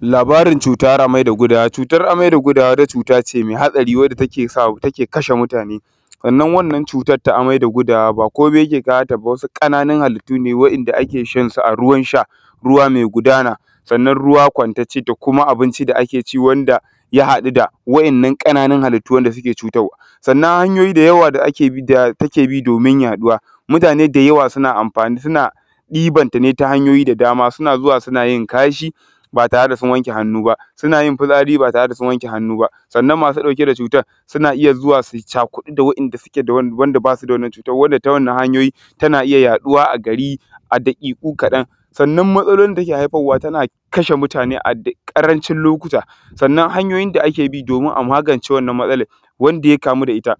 Labarin cutar amai da gudawa cutar amai da gudawa wato wani cuta ce mɛ hatsari wadda take sa take kashe mutane, wannan cutan ta amai da gudawa ba komai ke kawo ta ba, su awumi ƙananun halittu ne wadda ake shan su a ruwansa, ruwa mɛ gudana, sanann ruwan kwantacce da kuma abin ci da ake ci wanda ya haɗu da waɗannan ƙananun halittun, wadda suke cutarwa. Sanann hanyoyi da yawa da ake bi domin yaɗuwa mutane da yawa suna amfani, suna ɗiban ta ne ta hanyoyi da dama, suna zo suna yin kashi ba tare sun wanke hannun ba, suna yin fitsari ba tare sun wanke hannun ba, suna sa masu ɗauke da cutan suna ya zo su yi cakuɗu da wanda suke wa ba su da wannan cutan, wadda ta wannan hanyoyi tana iya yaɗuwa a gari a daƙiƙu kaɗaŋ. Sannan matsalolin da ke hairfawa tana iya kashe mutane a ƙarancin lokuta, sanann hanyoyin da ake bi domin a magance wannan matsalolin wanda ya kamu da ita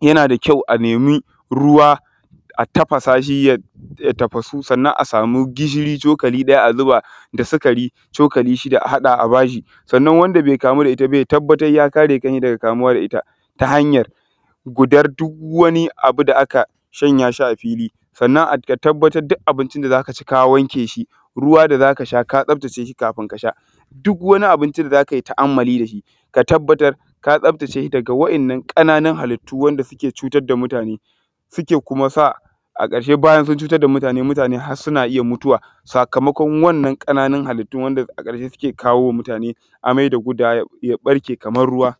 yana daga kyau a nemi ruwa a tafasa shi ya tafasu, sanann a samu gishiri cokli ɗaya a zuba da sukari cokli shida a haɗa a bashi. Sanann wanda be kamu da ita ba ya tabbatar ya kare kansa daga kamuwa da ita ta hanyar gudan duk wannan abu da aka shanya shi a filli. Sanann ka tabbatar duk abin ci da za ka ci ka wanke shi ruwa da za ka sha ka tsaftace shi kafun ka sha duk wannan abinci da za kai ta’amalli da shi ka tabbatar ka tsaftace da ruwa wanda ya kare hallittun wanda suke cutarwa da mutane, suke kuma sa a ƙarshe bayan sun cutar da mutane, har suna iya mutuwa sakamakon wannan ƙananun halittun wanda a ƙarshe suna kawo wa mutane amai da gudawa ya ɓarke kamar ruwa.